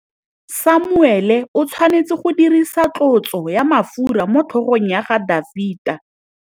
Samuele o tshwanetse go dirisa tlotsô ya mafura motlhôgong ya Dafita.